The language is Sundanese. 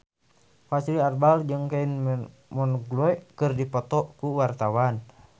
Fachri Albar jeung Kylie Minogue keur dipoto ku wartawan